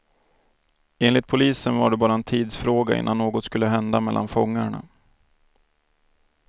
Enligt polisen var det bara en tidsfråga innan något skulle hända mellan fångarna.